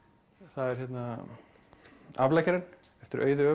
það er hérna afleggjarinn eftir Auði